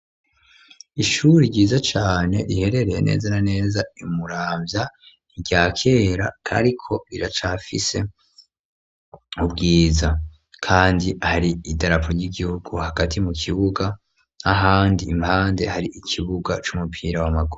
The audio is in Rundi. Ishuri ryiza cane riherereye neza na neza imuramvya irya kera kariko biracafise ubwiza, kandi hari idarapo ry'igihugu hagati mu kibuga nahandi impande hari ikibuga c'umupira wa magura.